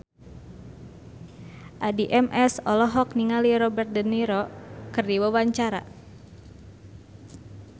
Addie MS olohok ningali Robert de Niro keur diwawancara